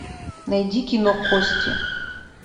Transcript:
найди кино кости